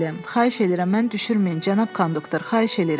Xahiş edirəm, məni düşürməyin, Cənab Konduktor, xahiş eləyirəm.